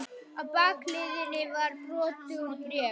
Á bakhliðinni var brot úr bréfi.